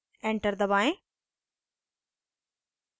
enter दबाएं